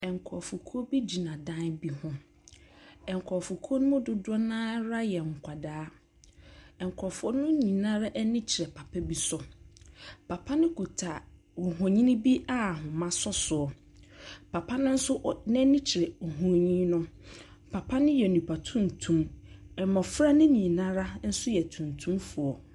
Nkurɔfokuo bi gyina dan bi ho. Nkurɔfokuo no dodoɔ no ara yɛ nkwadaa. Nkurɔfoɔ no nyinaa ani kyerɛ papa bi so. Papa no kuta nhonini bi a ahoma sɔ soɔ. Papa no nso ɔ n'ani kyerɛ honin no. papa no yɛ nnipa tuntum. Mmɔfra no nyinara yɛ tuntumfoɔ.